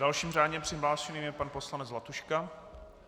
Dalším řádně přihlášeným je pan poslanec Zlatuška.